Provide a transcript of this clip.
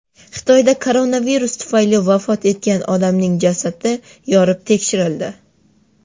Xitoyda koronavirus tufayli vafot etgan odamning jasadi yorib tekshirildi.